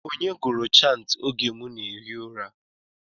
Onye gụrụ chantị oge m na-ehi ụra?